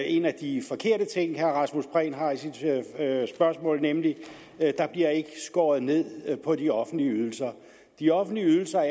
en af de forkerte ting herre rasmus prehn har i sit spørgsmål nemlig at der bliver skåret ned på de offentlige ydelser de offentlige ydelser